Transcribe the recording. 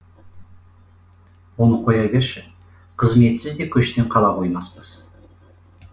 оны қоя берші қызметсіз де көштен қала қоймаспыз